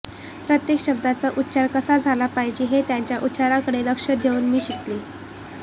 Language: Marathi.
प्रत्येक शब्दाचा उच्चार कसा झाला पाहिजे हे त्यांच्या उच्चारांकडे लक्ष देऊन मी शिकले